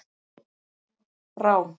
Brá